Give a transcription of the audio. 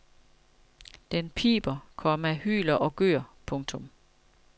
Den piber, komma hyler og gør. punktum